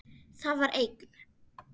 Það var eigin